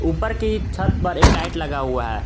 ऊपर की छत पर एक लाइट लगा हुआ है।